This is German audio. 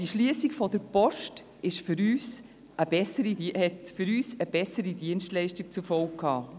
Die Schliessung der Post hatte für uns also eine bessere Dienstleistung zur Folge.